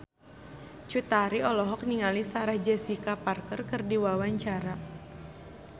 Cut Tari olohok ningali Sarah Jessica Parker keur diwawancara